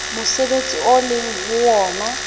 mosebetsi o leng ho wona